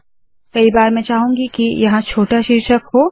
कई बार मैं चाहूंगी के यहाँ छोटा शीर्षक हो